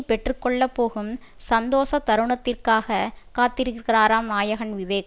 பெற்று கொள்ள போகும் சந்தோஷ தருணத்திற்காக காத்திருக்கிறாராம் நாயகன் விவேக்